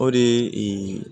O de ye